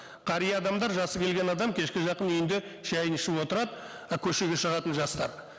қария адамдар жасы келген адам кешке жақын үйінде шайын ішіп отырады і көшеге шығатын жастар